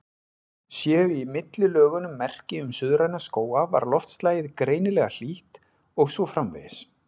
Séu í millilögunum merki um suðræna skóga var loftslagið greinilega hlýtt, og svo framvegis.